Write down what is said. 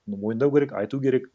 ну мойындау керек айту керек